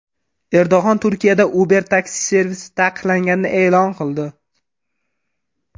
Erdo‘g‘on Turkiyada Uber taksi servisi taqiqlanganini e’lon qildi.